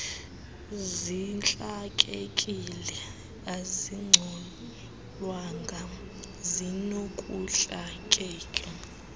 zintlakekile azicolwanga zinokuntlakeka